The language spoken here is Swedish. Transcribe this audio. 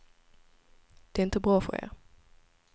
Det är inte bra för er.